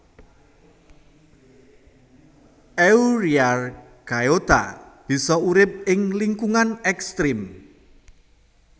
Euryarchaeota bisa urip ing lingkungan ekstrem